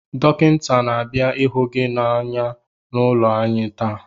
Dọkịnta na-abịa ịhụ gị anya n’ụlọ anyị taa